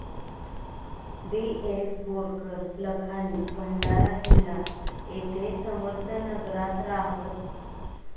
D S Borkar Lakhani Bhandara जिल्हा येथे समर्थ नगरात राहत